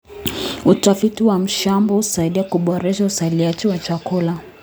Utafiti wa mashamba husaidia kuboresha uzalishaji wa chakula.